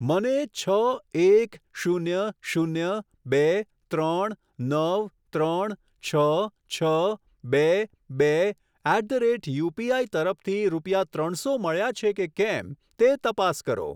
મને છ એક શૂન્ય શૂન્ય બે ત્રણ નવ ત્રણ છ છ બે બે એટ ધ રેટ યુપીઆઈ તરફથી રૂપિયા ત્રણસો મળ્યા છે કે કેમ તે તપાસ કરો.